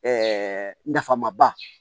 Ɛɛ nafa ma ba